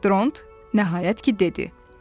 Dront nəhayət ki dedi.